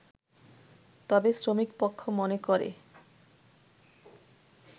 তবে শ্রমিকপক্ষ মনে করে